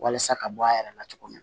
Walasa ka bɔ a yɛrɛ la cogo min na